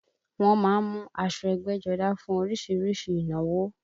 Wọ́n má ń mu aṣọ ẹgbẹ́jọdá fún orísìírísìí ìnáwó